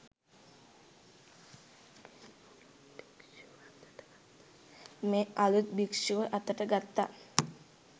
මේ අළුත් භික්ෂුව අතට ගත්තා